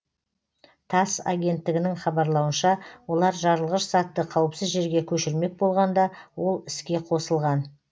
тасс агенттігінің хабарлауынша олар жарылғыш затты қауіпсіз жерге көшірмек болғанда ол іске қосылған